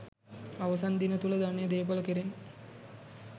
අවසන් දින තුළ ධනය දේපල කෙරෙන්